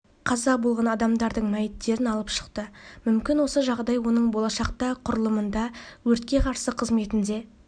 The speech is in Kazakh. қаза болған адамдардың мәйіттерін алып шықты мүмкін осы жағдай оның болашақта құрылымында өртке қарсы қызметінде